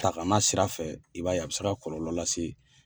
Takana sirafɛ i b'a ye a bɛ se ka kɔlɔlɔ lase